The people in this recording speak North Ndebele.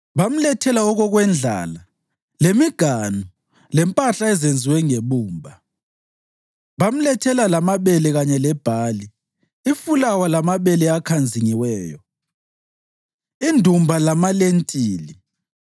bamlethela okokwendlala lemiganu lempahla ezenziwe ngebumba. Bamlethela lamabele kanye lebhali, ifulawa lamabele akhanzingiweyo, indumba lamalentili,